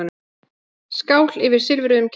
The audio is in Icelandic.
Skál yfir silfruðum kertum.